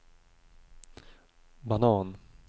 banan